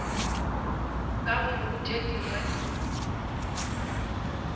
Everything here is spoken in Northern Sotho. ka gore go tše dingwe